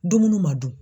Dumuni ma dun